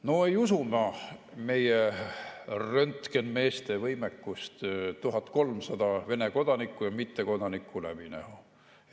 No ei usu ma meie röntgenmeeste võimekust 1300 Vene kodanikku ja mittekodanikku läbi näha.